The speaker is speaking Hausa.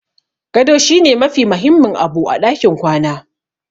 Gado shi ne mafi mahimmin abu a ɗakin kwana.